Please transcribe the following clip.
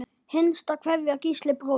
Hinsta kveðja, Gísli bróðir.